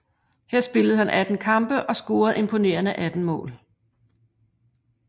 Her spillede han 18 kampe og scorede imponerende 18 mål